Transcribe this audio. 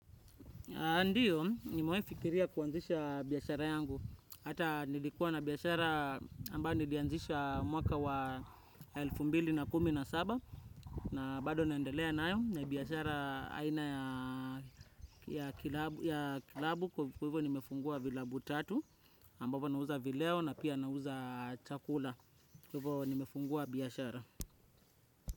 Ndiyo, nimewahifikiria kuanzisha biashara yangu. Hata nilikuwa na biashara ambayo nilianzisha mwaka wa elfu mbili kumi na saba na bado naendelea nayo na biashara aina ya kilabu klabu kwa hivo nimefungua vilabu tatu ambapo nauza vileo na pia nauza chakula. Kwa hivo nimefungua biashara.